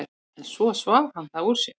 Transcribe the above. En svo svaf hann það úr sér.